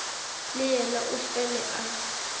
le yena o fele a